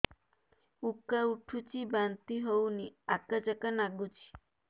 ଉକା ଉଠୁଚି ବାନ୍ତି ହଉନି ଆକାଚାକା ନାଗୁଚି